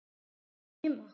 Er mamma þín heima?